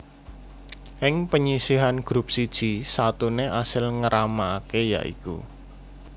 Ing penyisihan grup siji satuné asil ngéramaké ya iku